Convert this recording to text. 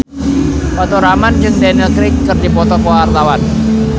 Faturrahman jeung Daniel Craig keur dipoto ku wartawan